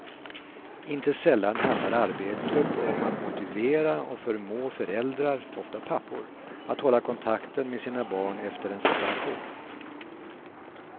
Inte sällan handlar arbetet om att motivera och förmå föräldrar, ofta pappor, att hålla kontakten med sina barn efter en separation.